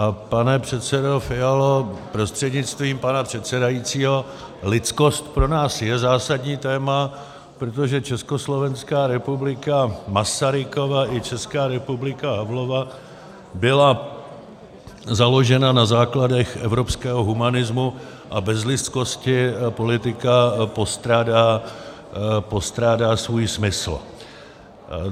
A pane předsedo Fialo prostřednictvím pana předsedajícího, lidskost pro nás je zásadní téma, protože Československá republika Masarykova i Česká republika Havlova byla založena na základech evropského humanismu a bez lidskosti politika postrádá svůj smysl.